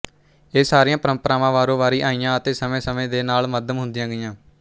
ਇਹ ਸਾਰੀਆਂ ਪਰੰਪਰਾ ਵਾਰੋਵਾਰੀ ਆਈਆਂ ਅਤੇ ਸਮੇਂਸਮੇਂ ਦੇ ਨਾਲ ਮੱਧਮ ਹੁੰਦੀਆਂ ਗਈਆਂ